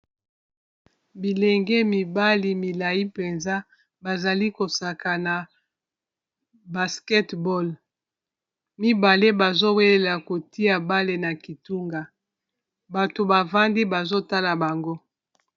bilenge mibali milai mpenza bazali kosaka na basketball mibale bazowelela kotia bale na kitunga bato bavandi bazotala bango